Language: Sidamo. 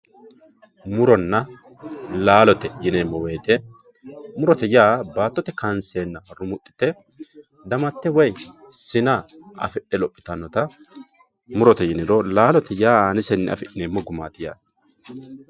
Muronna laalote yinemowoyite murote yaa baatote kansena fultena rumuxite damate woyi sina afidhe lophitanota mirote yinumoro laalote afinemo gumaat yaate